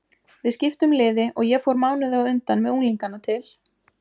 Við skiptum liði og ég fór mánuði á undan með unglingana til